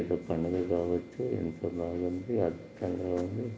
ఇది ఒక పండుగ కావచ్చు అండి ఎంత బగుంది అందముగా ఉంది .